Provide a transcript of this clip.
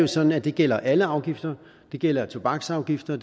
sådan at det gælder alle afgifter det gælder tobaksafgifter